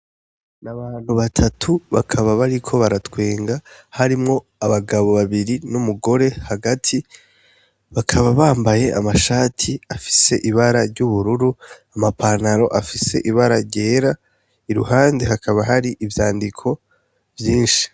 Ni abantu batatu, bakaba bariko baratwenga harimwo abagabo babiri n'umugore hagati, bakaba bambaye amashati afise ibara ry'ubururu, ama pantaro afise ibara ryera, iruhande hakaba hari ivyandiko vyinshi.